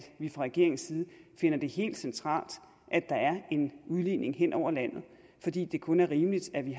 vi fra regeringens side finder det helt centralt at der er en udligning hen over landet fordi det kun er rimeligt at vi